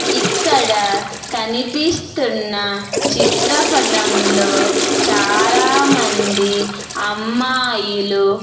ఇక్కడ కనిపిస్తున్న చిత్రపటంలో చాలా మంది అమ్మాయిలు.